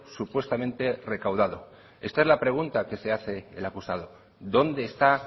supuestamente recaudado esta es la pregunta que se hace el acusado dónde está